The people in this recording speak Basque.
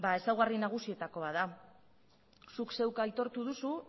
ezaugarri nagusietako bat da zuk zeuk aitortu duzu